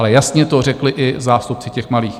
Ale jasně to řekli i zástupci těch malých.